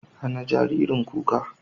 Hana jaririn kuka.